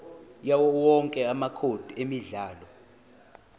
yawowonke amacode emidlalo